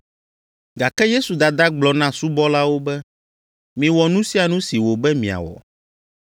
Gake Yesu dada gblɔ na subɔlawo be, “Miwɔ nu sia nu si wòbe miawɔ.”